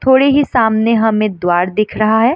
थोड़े ही सामने हमे द्वार दिख रहा है।